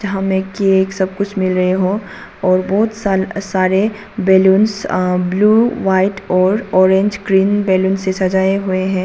यहां में केक सब कुछ मिल रहे हो और बहुत सा सारे बलूंस ब्लू व्हाइट और ऑरेंज ग्रीन बैलून से सजाए हुए हैं।